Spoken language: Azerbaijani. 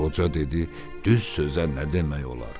Qoca dedi: "Düz sözə nə demək olar?